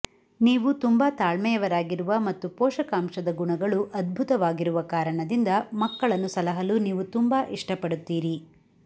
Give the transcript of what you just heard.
ನೀವು ತುಂಬಾ ತಾಳ್ಮೆಯವರಾಗಿರುವ ಮತ್ತು ಪೋಷಕಾಂಶದ ಗುಣಗಳು ಅದ್ಭುತವಾಗಿರುವ ಕಾರಣದಿಂದ ಮಕ್ಕಳನ್ನು ಸಲಹಲು ನೀವು ತುಂಬಾ ಇಷ್ಟಪಡುತ್ತೀರಿ